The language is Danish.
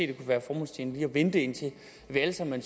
det kunne være formålstjenligt lige at vente indtil vi alle sammen